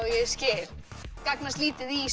ég skil gagnast lítið í